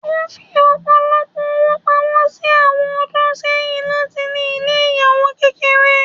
O fí ọpọlọpọ ọwó pámọ ni awọn ọdún sẹyìn latí ní ilé ìyàwò kékeré.